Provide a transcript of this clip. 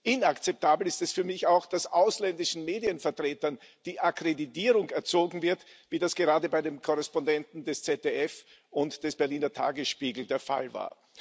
Inakzeptabel ist es für mich auch, dass ausländischen Medienvertretern die Akkreditierung entzogen wird, wie das gerade bei den Korrespondenten des ZDF und des Berliner Tagesspiegels der Fall war.